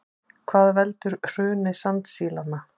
Hvað veldur hruni sandsílanna